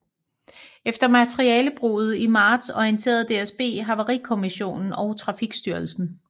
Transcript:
Efter materialebruddet i marts orienterede DSB Havarikommissionen og Trafikstyrelsen